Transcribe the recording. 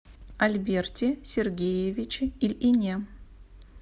альберте сергеевиче ильине